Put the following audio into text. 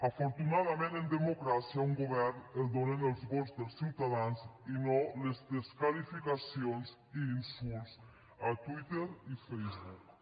afortunadament en democràcia un govern el donen els vots dels ciutadans i no les desqualificacions i insults a twitter i facebook